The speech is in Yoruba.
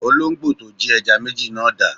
Olóǹgbò to jí ẹja méjì yẹn dà?